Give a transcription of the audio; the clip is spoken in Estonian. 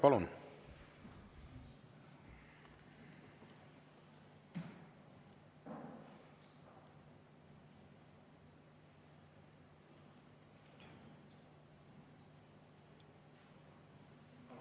Palun!